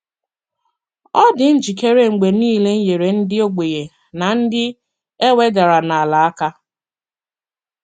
Ọ dị njikere mgbe nile inyere ndị ogbenye na ndị e wedara n’ala aka.